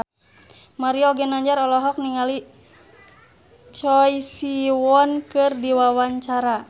Mario Ginanjar olohok ningali Choi Siwon keur diwawancara